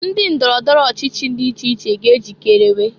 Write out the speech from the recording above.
Ndị ndọrọ ndọrọ ọchịchị dị iche iche ga ejikerewe.